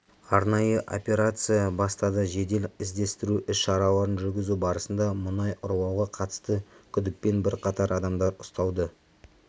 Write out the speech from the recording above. арнайы операция бастады жедел іздестіру іс-шараларын жүргізу барысында мұнай ұрлауға қатысты күдікпен бірқатар адамдар ұсталды